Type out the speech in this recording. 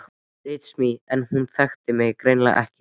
Ritsímans en hún þekkti mig greinilega ekki.